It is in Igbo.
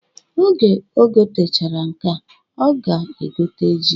Oge o gotechara nkea, ọ ga-egote ji